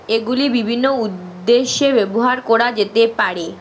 এগুলি বিভিন্ন উদ্দেশ্যে ব্যবহার করা যেতে পারে।